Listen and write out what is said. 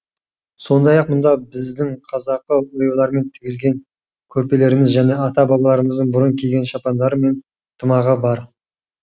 сондай ақ мұнда біздің қазақы оюлармен тігілген көрпелеріміз және ата бабаларымыздың бұрын киген шапандары мен тымағы бар